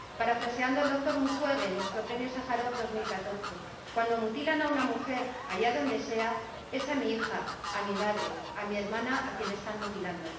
Parafraseando al doctor Mukwege, nuestro Premio Sájarov 2014, cuando mutilan a una mujer, allá donde sea, es a mi hija, a mi madre, a mi hermana a quien están mutilando.